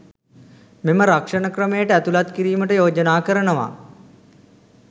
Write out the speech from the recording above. මෙම රක්ෂණ ක්‍රමයට ඇතුළත් කිරීමට යෝජනා කරනවා